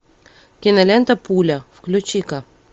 кинолента пуля включи ка